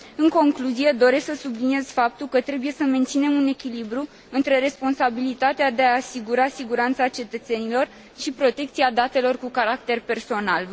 În concluzie, doresc să subliniez faptul că trebuie să menținem un echilibru între responsabilitatea de a asigura siguranța cetățenilor și protecția datelor cu caracter personal.